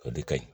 O de ka ɲi